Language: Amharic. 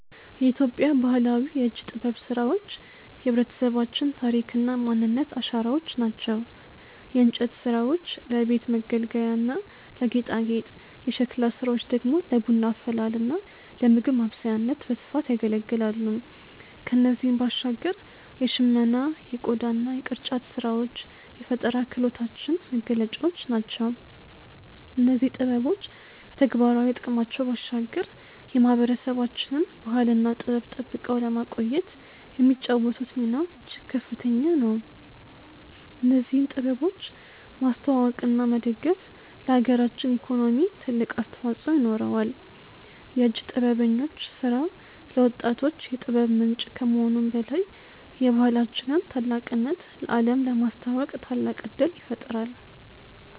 የኢትዮጵያ ባህላዊ የእጅ ጥበብ ስራዎች የህብረተሰባችን ታሪክና ማንነት አሻራዎች ናቸው። የእንጨት ስራዎች ለቤት መገልገያና ለጌጣጌጥ፣ የሸክላ ስራዎች ደግሞ ለቡና አፈላልና ለምግብ ማብሰያነት በስፋት ያገለግላሉ። ከእነዚህም ባሻገር የሽመና የቆዳና የቅርጫት ስራዎች የፈጠራ ክህሎታችን መገለጫዎች ናቸው። እነዚህ ጥበቦች ከተግባራዊ ጥቅማቸው ባሻገር የማህበረሰባችንን ባህልና ጥበብ ጠብቀው ለማቆየት የሚጫወቱት ሚና እጅግ ከፍተኛ ነው። እነዚህን ጥበቦች ማስተዋወቅና መደገፍ ለሀገራችን ኢኮኖሚ ትልቅ አስተዋጽኦ ይኖረዋል። የእጅ ጥበበኞች ስራ ለወጣቶች የጥበብ ምንጭ ከመሆኑም በላይ የባህላችንን ታላቅነት ለአለም ለማስተዋወቅ ታላቅ እድል ይፈጥራል።